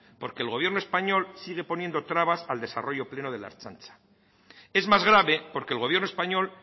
porque el gobierno español sigue poniendo trabas al desarrollo pleno de la ertzaintza es más grave porque el gobierno español